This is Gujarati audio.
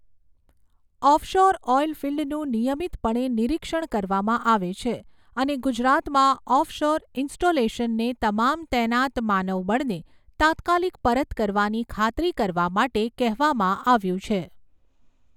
ઑફશોર ઑઇલ ફિલ્ડનું નિયમિતપણે નિરીક્ષણ કરવામાં આવે છે અને ગુજરાતમાં ઑફશોર ઇન્સ્ટોલેશનને તમામ તૈનાત માનવબળને તાત્કાલિક પરત કરવાની ખાતરી કરવા માટે કહેવામાં આવ્યું છે.